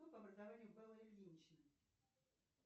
кто по образованию бэлла ильинична